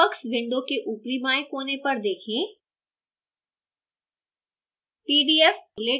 texworks window के उपरी बाएं कोने पर देखें